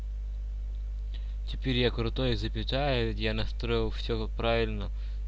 теперь я крутой запятая я настроил все правильно